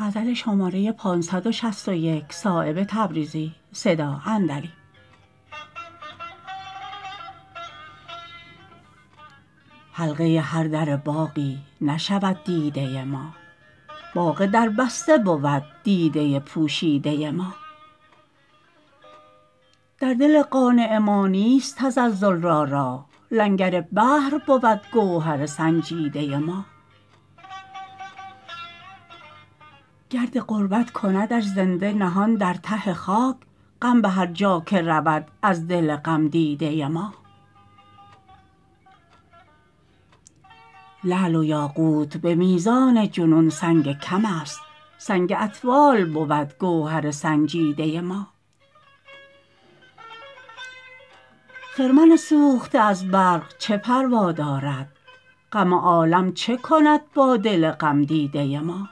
حلقه هر در باغی نشود دیده ما باغ دربسته بود دیده پوشیده ما در دل قانع ما نیست تزلزل را راه لنگر بحر بود گوهر سنجیده ما گرد غربت کندش زنده نهان در ته خاک غم به هر جا که رود از دل غم دیده ما لعل و یاقوت به میزان جنون سنگ کم است سنگ اطفال بود گوهر سنجیده ما خرمن سوخته از برق چه پروا دارد غم عالم چه کند با دل غم دیده ما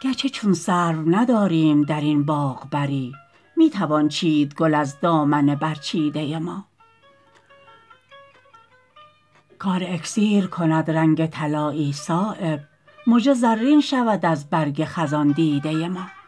گرچه چون سرو نداریم درین باغ بری می توان چید گل از دامن برچیده ما کار اکسیر کند رنگ طلایی صایب مژه زرین شود از برگ خزان دیده ما